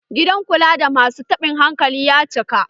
Gidan kula da masu taɓin hankali ya cika.